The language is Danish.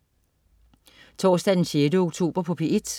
Torsdag den 16. oktober - P1: